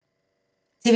TV 2